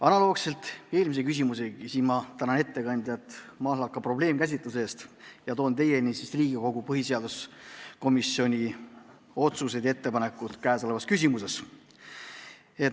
Analoogselt eelmise punktiga ma tänan ettekandjat mahlaka probleemikäsitluse eest ja toon teieni Riigikogu põhiseaduskomisjoni otsused ja ettepanekud käesolevas küsimuses.